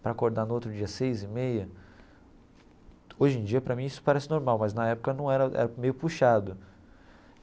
Para acordar no outro dia seis e meia... Hoje em dia, para mim, isso parece normal, mas na época não era era meio puxado.